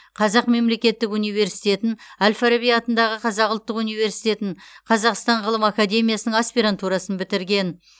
қазақ мемлекеттік университетін әл фараби атындағы қазақ ұлттық университетін қазақстан ғылым академиясының аспирантурасын бітірген